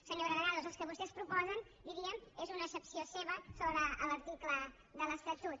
senyora granados el que vostès proposen diríem és una accepció seva sobre l’article de l’estatut